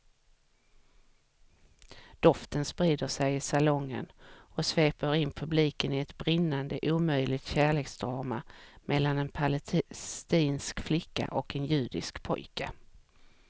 Doften sprider sig i salongen och sveper in publiken i ett brinnande omöjligt kärleksdrama mellan en palestinsk flicka och en judisk pojke.